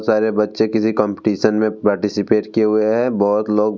सारे बच्चे किसी कम्पटीशन में पार्टिसिपेट किये हुए है बहुत लोग --